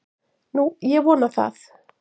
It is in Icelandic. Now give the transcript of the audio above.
Nú, ég vona það.